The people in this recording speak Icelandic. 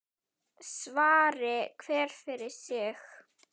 Svari hver fyrir sig.